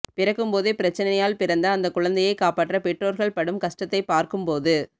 பிறக்கும்போதே பிறச்சனையால் பிறந்த அந்த குழந்தையை காப்பாற்ற பெற்றோர்கல் படும் கஷ்ட்டத்தை பார்க்கும்போது